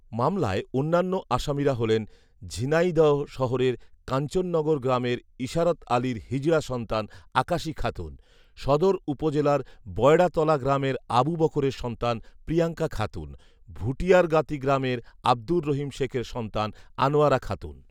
মামলায় অন্যান্য আসামীরা হলেন, ঝিনাইদহ শহরের কাঞ্চননগর গ্রামের ইসারত আলীর হিজড়া সন্তান আকাশী খাতুন, সদর উপজেলার বয়ড়াতলা গ্রামের আবু বকরের সন্তান প্রিয়ংকা খাতুন, ভুটিয়ারগাতি গ্রামের আব্দুর রহিম শেখের সন্তান আনোয়ারা খাতুন